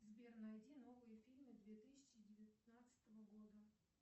сбер найди новые фильмы две тысячи девятнадцатого года